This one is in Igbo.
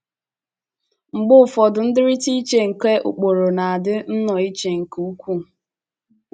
Mgbe ụfọdụ ndịrịta iche nke ụkpụrụ na - adị nnọọ iche nke ukwuu.